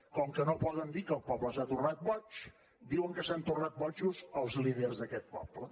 com que no poden dir que el poble s’ha tornat boig diuen que s’han tornat bojos els líders d’aquest poble